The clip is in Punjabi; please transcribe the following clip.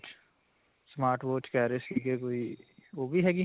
smart watch ਕਿਹ ਰਹੇ ਸਿਗੇ ਕੋਈ ਓਹ ਵੀ ਹੈਗੀ?